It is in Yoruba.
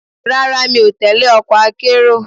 Rárá, mi ò tẹle ọkọ̀ akérò.